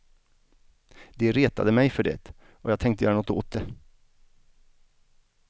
De retade mig för det och jag tänkte göra något åt det.